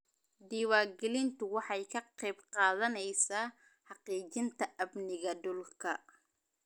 Diiwaangelintu waxay ka qayb qaadanaysaa xaqiijinta amniga dhulka.